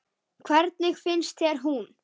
Hvernig finnst þér hún?